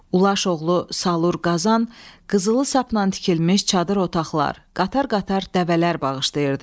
Ulaş oğlu Salur Qazan, qızılı sapla tikilmiş çadır otaqlar, qatar-qatar dəvələr bağışlayırdı.